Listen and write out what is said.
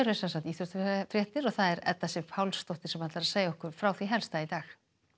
íþróttafréttir og það er Edda Sif Pálsdóttir sem ætlar að segja okkur frá því helsta í dag